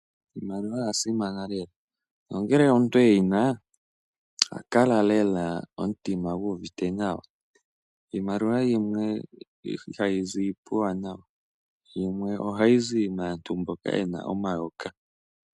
Iimaliwa oya simana lela nongele omuntu e yi na oha kala lela e na omutima gu uvite nawa. Iimaliwa yimwe ihayi zi puuwanawa. Yimwe ohayi zi maantu mboka ye na omayoka.